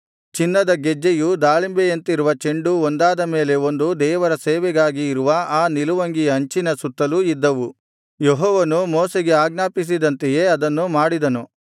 ಚಿನ್ನದ ಗೆಜ್ಜೆಯೂ ದಾಳಿಂಬೆಯಂತಿರುವ ಚೆಂಡೂ ಒಂದಾದ ಮೇಲೆ ಒಂದು ದೇವರ ಸೇವೆಗಾಗಿ ಇರುವ ಆ ನಿಲುವಂಗಿಯ ಅಂಚಿನ ಸುತ್ತಲೂ ಇದ್ದವು ಯೆಹೋವನು ಮೋಶೆಗೆ ಆಜ್ಞಾಪಿಸಿದಂತೆಯೇ ಅದನ್ನು ಮಾಡಿದನು